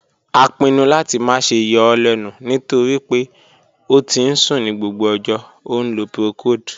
A pinnu lati ma ṣe yọ ọ lẹnu nitori pe o ti n sun ni gbogbo ọjọ, o nlo procold.